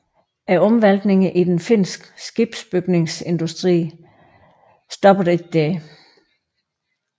Omvæltningerne i den finske skibsbygningsindustri stoppede ikke der